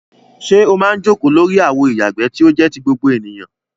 Ṣé o máa ń jókòó lórí àwo ìyàgbẹ́ tí ó jẹ́ ti gbogbo ènìyàn?